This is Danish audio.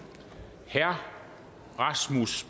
herre rasmus